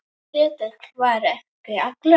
Ketill var ekki allra.